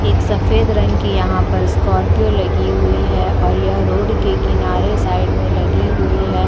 एक सफेद रंग की यहाँ पर स्कार्पियो लगी हुई है और यह रोड के किनारे साइड में लगी हुई है।